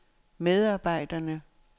medarbejderne